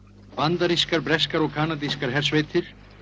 bandarískar breskar og kanadískar hersveitir